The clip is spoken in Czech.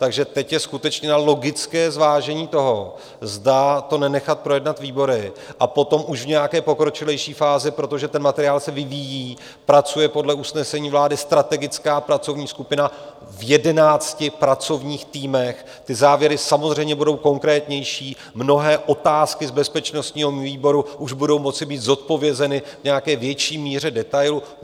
Takže teď je skutečně na logické zvážení toho, zda to nenechat projednat výbory a potom už v nějaké pokročilejší fázi - protože ten materiál se vyvíjí, pracuje podle usnesení vlády strategická pracovní skupina v jedenácti pracovních týmech, ty závěry samozřejmě budou konkrétnější - mnohé otázky z bezpečnostního výboru už budou moci být zodpovězeny v nějaké větší míře, detailu.